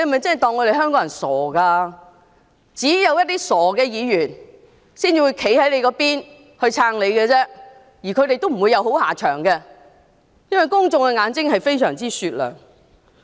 只有一些傻的議員才會站在他那邊支持他，而他們亦不會有好下場，因為公眾的眼睛非常雪亮。